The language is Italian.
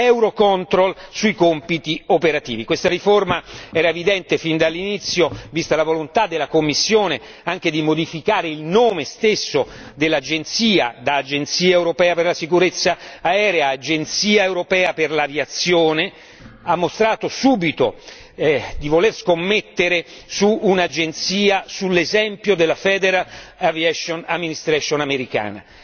Eurocontrol sui compiti operativi. Questa riforma era evidente fin dall'inizio, vista la volontà della Commissione anche di modificare il nome stesso dell'Agenzia, da Agenzia europea per la sicurezza aerea ad Agenzia europea per l'aviazione, ha mostrato subito di voler scommettere su un'Agenzia sull'esempio della Federal Aviation Administration americana.